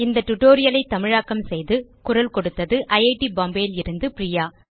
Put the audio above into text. இந்த tutorial ஐ தமிழாக்கம் செய்து குரல் கொடுத்தது ஐட் பாம்பே லிருந்து பிரியா